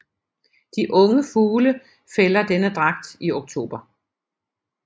De unge fugle fælder denne dragt i oktober